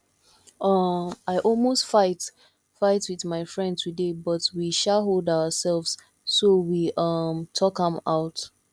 um i almost fight fight with my friend today but we um hold ourselves so we um talk am out